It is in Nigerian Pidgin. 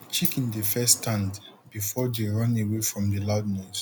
chicken dey first stand before dey run away from the loud noise